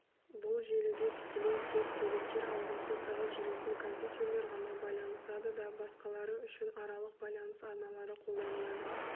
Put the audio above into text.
бұл желіде тікелей тек деректер алмасу тығыз жүретін компьютерлер ғана байланысады да басқалары үшін аралық байланыс арналары қолданылады